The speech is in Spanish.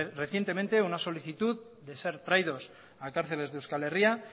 recientemente una solicitud de ser traídos a cárceles de euskal herria